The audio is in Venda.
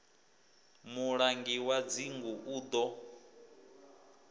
mulangi wa dzingu u ḓo